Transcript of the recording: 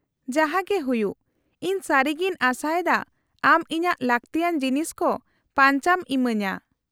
-ᱡᱟᱦᱟᱸᱜᱮ ᱦᱩᱭᱩᱜ, ᱤᱧ ᱥᱟᱹᱨᱤᱜᱤᱧ ᱟᱥᱟᱭᱮᱫᱟ ᱟᱢ ᱤᱧᱟᱹᱜ ᱞᱟᱠᱛᱤᱭᱟᱱ ᱡᱤᱱᱤᱥ ᱠᱚ ᱯᱟᱧᱪᱟᱢ ᱤᱢᱟᱹᱧᱟᱹ ᱾